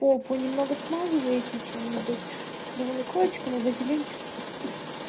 попу немного смазываете чем-нибудь левомекольчиком или вазелинчиком